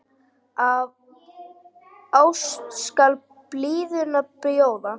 Af ást skal blíðuna bjóða.